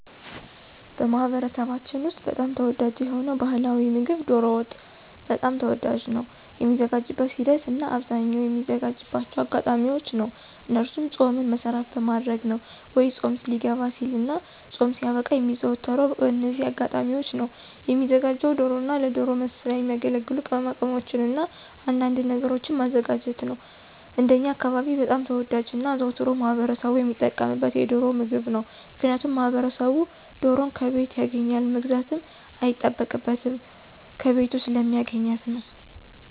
በማኅበረሰባችን ውስጥ በጣም ተወዳጅ የሆነው ባሕላዊ ምግብ ዶሮ ወጥ በጣም ተወዳጅ ነው። የሚዘጋጅበትን ሂደት እናበአብዛኛው የሚዘጋጅባቸው በአጋጣሚዎች ነው እነሱም ፆምን መሰረት በማድረግ ነው ወይ ፆም ሊገባ ሲልና ፆም ሲያበቃ የሚዘወተረው በእነዚህ አጋጣሚዎች ነው። የሚዘጋጀውም ዶሮና ለዶሮ መስሪያ የሚያገለግሉ ቅማቅመሞችንና አንዳንድ ነገሮችን ማዘጋጀት ነው። እንደኛ አካባቢ በጣም ተወዳጅና አዘውትሮ ማህበረሰቡ ሚጠቀምበት የዶሮን ምግብ ነው። ምክንያቱም ማህበረሰቡ ዶሮን ከቤቱ ያገኛል መግዛትም አይጠበቅበትም ከቤቱ ስለሚያገኛት ነው።